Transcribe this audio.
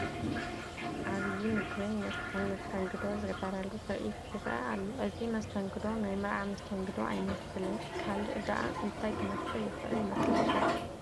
ዓብዪ ምግብን መስተን መስተንግዶ ዝግበረሉ ትርኢት ይርአ ኣሎ፡፡ እዚ መስተንግዶ ናይ መርዓ መስተንግዶ ኣይመስልን፡፡ ካልእ ደኣ እንታይ ክመስል ይኽእል ይመስለኩም?